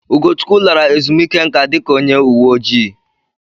Ugochukwu lara ezumike nka dika onye uwe ojii.